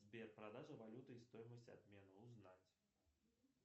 сбер продажа валюты и стоимость обмена узнать